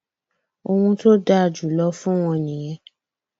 ohun tó dáa jù lọ fún wọn nìyẹn